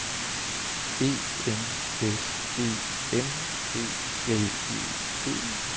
E N S E M B L E T